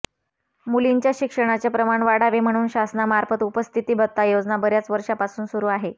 मुलींच्या शिक्षणाचे प्रमाण वाढावे म्हणून शासनामार्फत उपस्थिती भत्ता योजना बर्याच वर्षांपासून सुरू आहे